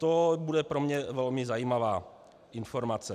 To bude pro mne velmi zajímavá informace.